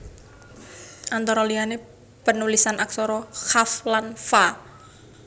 Antara liya panulisan aksara qaf lan fa